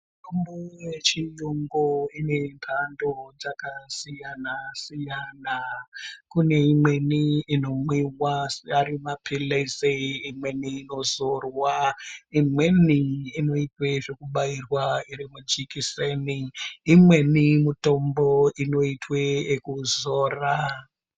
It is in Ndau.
Mitombo yechiyungu inemhando dzakasiyana siyana kune imweni inomwiwa asi arimaphilizi , imweni yozorwa, imweni inoitwe zvekubairwa irimujekiseni imweni mitombo inoitwe ekuzora.